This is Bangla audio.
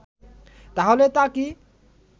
তাহলে তা কি